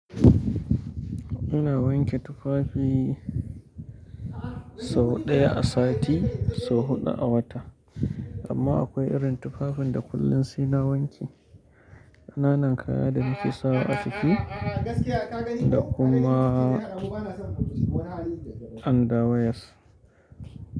Ina wanke tufafi sau ɗaya a sati sau huɗu a wata amma akwai irin tufafin da kullum sai na wanke. Kananan kaya da nake sawa a ciki da kuma under wears.